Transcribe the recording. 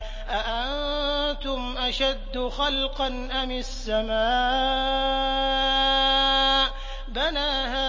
أَأَنتُمْ أَشَدُّ خَلْقًا أَمِ السَّمَاءُ ۚ بَنَاهَا